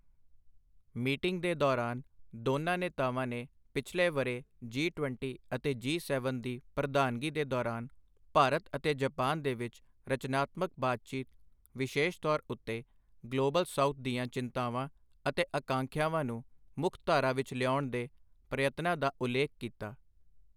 Meeting ਦੇ ਦੌਰਾਨ, ਦੋਨਾਂ ਨੇਤਾਵਾਂ ਨੇ ਪਿਛਲੇ ਵਰ੍ਹੇ ਜੀ ਟਵੱਨਟੀ ਅਤੇ ਜੀ ਸੈਵਨ ਦੀ ਪ੍ਰਧਾਨਗੀ ਦੇ ਦੌਰਾਨ ਭਾਰਤ ਅਤੇ ਜਪਾਨ ਦੇ ਵਿੱਚ ਰਚਨਾਤਮਕ ਬਾਤਚੀਤ, ਵਿਸ਼ੇਸ਼ ਤੌਰ ਉੱਤੇ ਗਲੋਬਲ ਸਾਊਥ ਦੀਆਂ ਚਿੰਤਾਵਾਂ ਅਤੇ ਆਕਾਂਖਿਆਵਾਂ ਨੂੰ ਮੁੱਖ-ਧਾਰਾ ਵਿੱਚ ਲਿਆਉਣ ਦੇ ਪ੍ਰਯਤਨਾਂ ਦਾ ਉਲੇਖ ਕੀਤਾ।